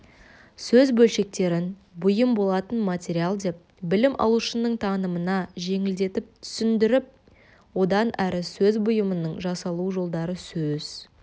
сөз бөлшектерін бұйым болатын материал деп білім алушының танымына жеңілдетіп түсіндіріп одан әрі сөз бұйымының жасалу жолдары сөз